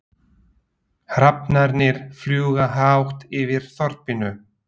Hrafnarnir fljúga hátt yfir þorpinu.